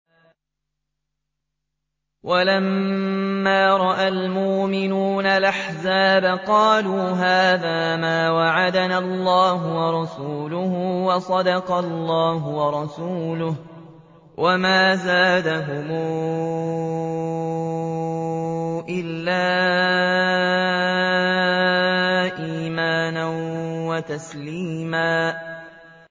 وَلَمَّا رَأَى الْمُؤْمِنُونَ الْأَحْزَابَ قَالُوا هَٰذَا مَا وَعَدَنَا اللَّهُ وَرَسُولُهُ وَصَدَقَ اللَّهُ وَرَسُولُهُ ۚ وَمَا زَادَهُمْ إِلَّا إِيمَانًا وَتَسْلِيمًا